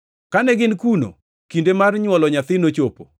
Kane gin kuno, kinde mar nywolo nyathi nochopo,